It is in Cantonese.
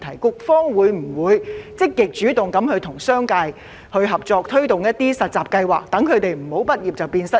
請問局方會否積極主動地與商界合作，推動實習計劃，以免畢業生"畢業變失業"？